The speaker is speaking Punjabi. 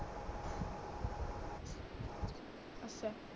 ਅੱਛਾ